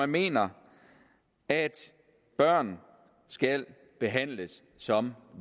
mener at børn skal behandles som